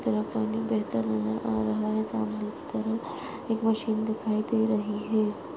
इस तरफ पानी बहता नज़र आ रहा है सामने कि तरफ एक मशीन दिखाई दे रही है।